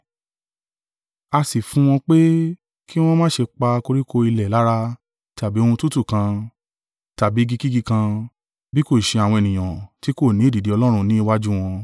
A sì fún wọn pé ki wọn má ṣe pa koríko ilẹ̀ lára tàbí ohun tútù kan, tàbí igikígi kan; bí kò ṣe àwọn ènìyàn tí kò ni èdìdì Ọlọ́run ní iwájú wọn.